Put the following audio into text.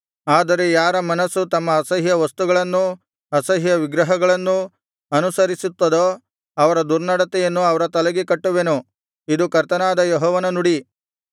ಆದರೆ ಯಾರ ಮನಸ್ಸು ತಮ್ಮ ಅಸಹ್ಯ ವಸ್ತುಗಳನ್ನೂ ಅಸಹ್ಯ ವಿಗ್ರಹಗಳನ್ನೂ ಅನುಸರಿಸುತ್ತದೋ ಅವರ ದುರ್ನಡತೆಯನ್ನು ಅವರ ತಲೆಗೆ ಕಟ್ಟುವೆನು ಇದು ಕರ್ತನಾದ ಯೆಹೋವನ ನುಡಿ